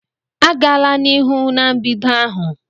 Agala n'ihu na mbedo ahụ!